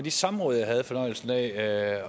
de samråd jeg havde fornøjelsen af at